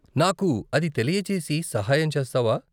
నాకు అది తెలియజేసి సాహాయం చేస్తావా?